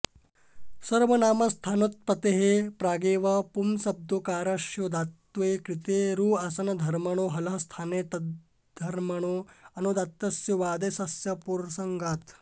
सर्वनामस्थानोत्पतेः प्रागेव पुम्शब्दोकारस्योदात्तत्वे कृते रुआंसनधर्मणो हलः स्थाने तद्धर्मणोऽनुदात्तस्यैवादेशस्य पर्सङ्गात्